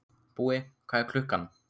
Búi, hvað er klukkan?